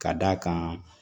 Ka d'a kan